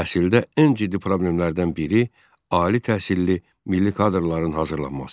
Təhsildə ən ciddi problemlərdən biri ali təhsilli milli kadrların hazırlanması idi.